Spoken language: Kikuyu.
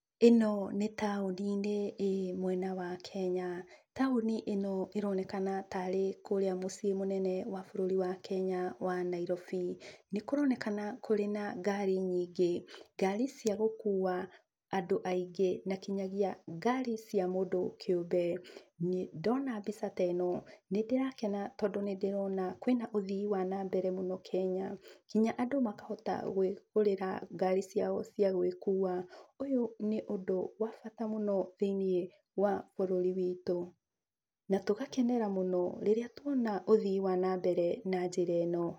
ĩno nĩ taũni-inĩ ĩĩ mwena wa Kenya. Taũni ĩno ĩronekana tarĩ kũrĩa mũciĩ mũnene wa bũrũri wa Kenya wa Nairobi. Nĩ kũronekana kũrĩ na ngari nyingĩ. Ngari cia gũkuua andũ aingĩ na kinyagia ngari cia mũndũ kĩũmbe. Ndona mbica ta ĩno, nĩ ndĩrakena tondũ nĩ ndĩrona kwĩna ũthii wa na mbere mũno Kenya, nginya andũ makahota gwĩgũgĩrĩra ngari ciao cia gwĩkuua. Ũyũ nĩ ũndũ wa bata mũno thĩini wa bũrũri witũ na tũgakenera mũno rĩrĩa tuona ũthii wa na mbere na njĩra ĩno.